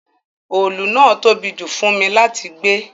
Òòlù náà tóbi jù fún mi láti gbé